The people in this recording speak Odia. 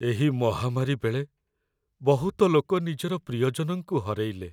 ଏହି ମହାମାରୀ ବେଳେ ବହୁତ ଲୋକ ନିଜର ପ୍ରିୟଜନଙ୍କୁ ହରେଇଲେ ।